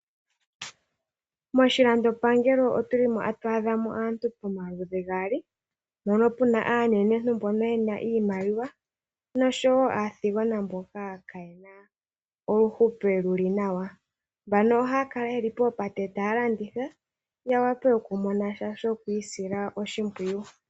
Moshilandopangelo oto adhamo aantu omaludhi gaali ,mono muna aanenentu mbono ye na iimaliwa noshowo aathigona mboka kayena uuhupilo wuli nawa , mbano ohaya kala ye li mbano oha ya kala ye li poopate ta ya landitha ya wape oku imonena sha shoku isila oshimpwiyu.